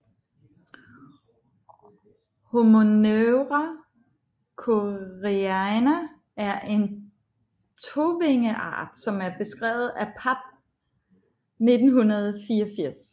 Homoneura koreana er en tovingeart som er beskrevet af Papp 1984